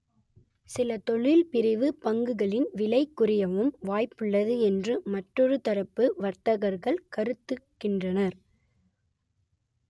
சில தொழில் பிரிவு பங்குகளின் விலை குறையவும் வாய்ப்பு உள்ளது என்று மற்றொரு தரப்பு வர்த்தகர்கள் கருத்துகின்றனர்